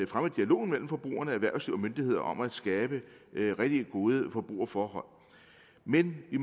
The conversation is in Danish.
fremme dialogen mellem forbrugere erhvervsliv og myndigheder om at skabe rigtig gode forbrugerforhold men vi